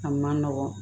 A man nɔgɔn